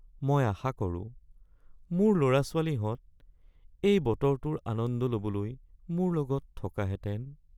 মই আশা কৰোঁ, মোৰ ল'ৰা-ছোৱালীহঁত এই বতৰটোৰ আনন্দ ল'বলৈ মোৰ লগত থকাহেঁতেন